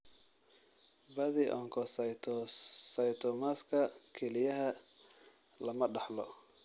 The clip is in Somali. Badi onkocytomasga kelyaha lama dhaxlo.